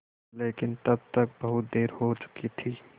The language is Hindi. लेकिन तब तक बहुत देर हो चुकी थी